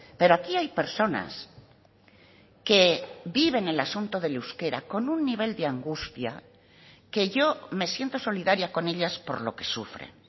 pero aquí hay personas que viven el asunto del euskera con un nivel de angustia que yo me siento solidaria con ellas por lo que sufren